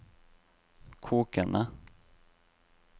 kokende